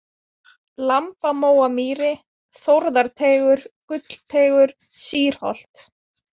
Lambamóamýri, Þórðarteigur, Gullteigur, Sýrholt